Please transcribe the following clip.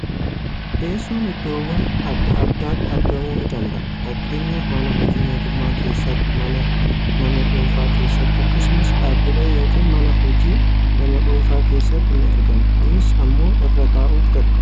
Teessoon iddoowwan adda addaatti aragamuu ni danada'a. Fakkeenyaaf mana hojii mootummaa keessatti, mana nama dhuunfaa keessatti, akkasumas dhaabbilee yookaan mana hojii nama dhuunfaa keessatti ni argama. Kunis ammoo irra taa'uuf garagaara.